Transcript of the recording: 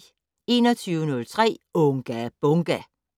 21:03: Unga Bunga!